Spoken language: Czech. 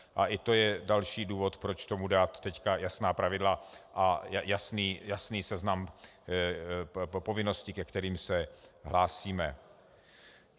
A i to je další důvod, proč tomu teď dát jasná pravidla a jasný seznam povinností, ke kterým se hlásíme.